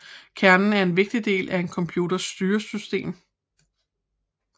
Kernen er en vigtig del af en computers styresystem